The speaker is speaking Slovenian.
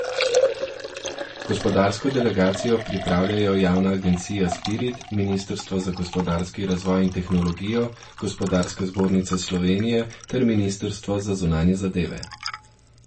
Gospodarsko delegacijo pripravljajo javna agencija Spirit, ministrstvo za gospodarski razvoj in tehnologijo, Gospodarska zbornica Slovenije ter ministrstvo za zunanje zadeve.